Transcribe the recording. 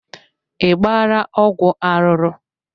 I gbaala ọgwụ arụrụ.